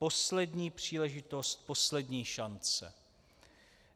Poslední příležitost, poslední šance.